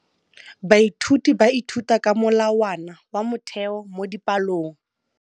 Baithuti ba ithuta ka molawana wa motheo mo dipalong.